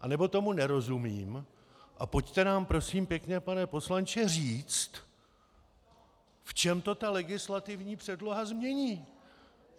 Anebo tomu nerozumím a pojďte nám prosím pěkně pane poslanče, říct, v čem to ta legislativní předloha změní.